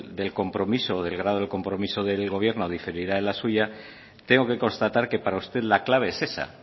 del grado del compromiso del gobierno diferirá de la suya tengo que constatar que para usted la clave es esa